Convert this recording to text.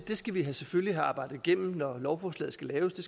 det skal vi selvfølgelig have arbejdet igennem når lovforslaget skal laves det